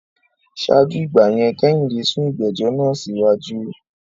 Ṣáájú ìgbà yẹn, Kẹ́hìndé sún ìgbẹ́jọ́ náà síwájú